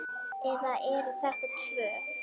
Eða eru þetta tvö?